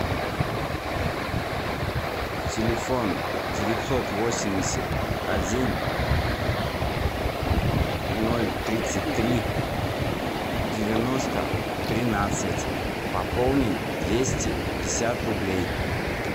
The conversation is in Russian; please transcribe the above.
телефон девятьсот восемьдесят один ноль тридцать три девяносто тринадцать пополнить двести пятьдесят рублей